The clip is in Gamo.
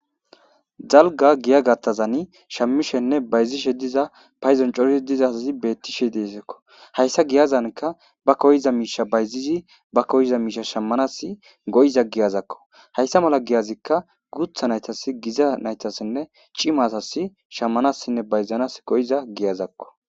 Dalga giya gattazani shammishenne bayzishe diza payzoncori dizaazi bettishe deesakko hayssa giyazanka ba koyza miisha bayzizi ba koyiza miisha shammanas goyiza giyazakko hayssa mala giyazikka gutha naytas giza naytassinne cimasas shammanassinne bayzanas goyiza giyazakko